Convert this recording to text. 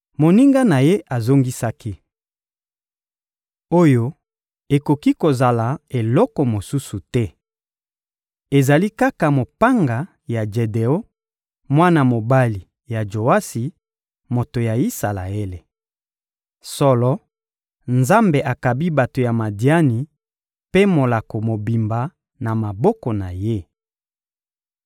Moninga na ye azongisaki: — Oyo ekoki kozala eloko mosusu te! Ezali kaka mopanga ya Jedeon, mwana mobali ya Joasi, moto ya Isalaele. Solo, Nzambe akabi bato ya Madiani mpe molako mobimba na maboko na ye.